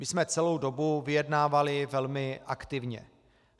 My jsme celou dobu vyjednávali velmi aktivně.